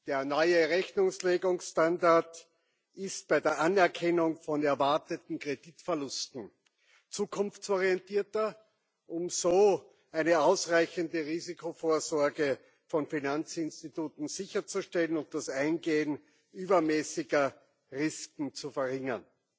Der neue Rechnungslegungsstandard ist bei der Anerkennung von erwarteten Kreditverlusten zukunftsorientierter, um so eine ausreichende Risikovorsorge von Finanzinstituten sicherzustellen und das Eingehen übermäßiger Risiken zu verringern.